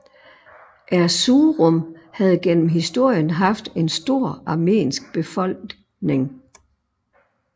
Erzurum havde gennem historien haft en stor armensk befolkning